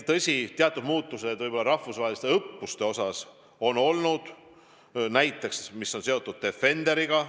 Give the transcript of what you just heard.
Tõsi, teatud muutused rahvusvaheliste õppustega on olnud, näiteks see, mis on seotud Defenderiga.